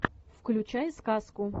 включай сказку